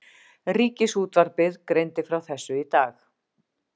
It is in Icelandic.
Ríkisútvarpið greindi frá þessu í dag